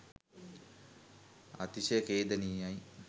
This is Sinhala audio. අතිශය ඛේදනීයයි